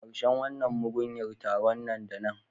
Karshen wannan mugunyar taron nan da nan